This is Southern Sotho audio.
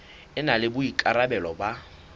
e na le boikarabelo ba